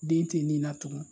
Den te nin na tugun